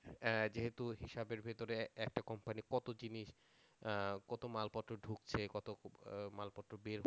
যেহেতু হিসাবের ভিতরে একটা company এর মানে কত জিনিস কত মালপত্র ঢুকছে কত মালপত্র বের হচ্ছে